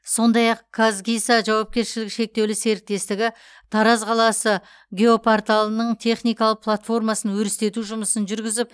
сондай ақ казгиса жауапкершілігі шектеул серіктестігі тараз қаласы геопорталының техникалық платформасын өрістету жұмысын жүргізіп